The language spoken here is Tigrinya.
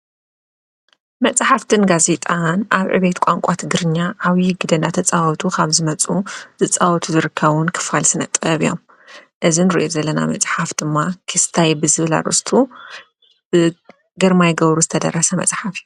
መፅሓፍትን ጋዜጣን ኣብ ዕቤት ቋንቋ ትግርኛ ዓብይ ግደ ኣናተፀወቱ ኻብ ዝመፁ ዝፃወቱ ዝርከቡ ክፋል ስነ ጥበብ እዮም እዙይ እንርእዮ ዘለና መፅሓፍ ድማ ከስታይ ዝብል ኣርእስቱ ብግርማይ ገብሩ ዝተደረሰ መፅሓፍ እዩ።